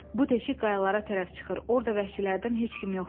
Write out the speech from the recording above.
Bu deşik qayalara tərəf çıxır, orda vəhşilərdən heç kim yoxdur.